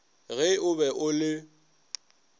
ge o be o le